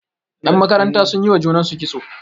yanmakaranta sun yi wa junansu kitso